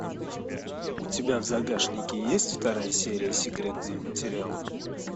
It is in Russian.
у тебя в загашнике есть вторая серия секретные материалы